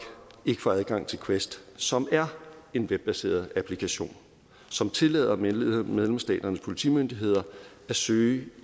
ikke får adgang til quest som er en webbaseret applikation som tillader medlemsstaternes politimyndigheder at søge